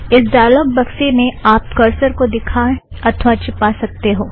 इस ड़ायालोग बक्से में आप करसर को दिखा अथ्वा चिपा सकते हो